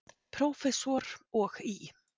Prófessor, og í